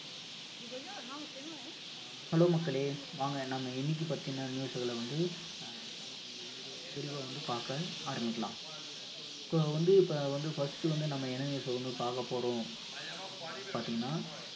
hello மக்களே வாங்க நம்ம இன்னைக்கு பத்தின news களை வந்து அஹ் நம்ம கொஞ்சம் விரிவா விரிவா வந்து பார்க்க ஆரம்பிக்கலாம் இப்ப வந்து இப்ப வந்து first வந்து நம்ம என்ன news அ வந்து பார்க்கப் போறோம் அப்டினு வந்து பார்த்தீங்கன்னா